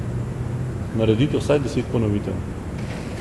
Naredite vsaj deset ponovitev.